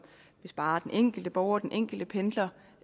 vil spare den enkelte borger den enkelte pendler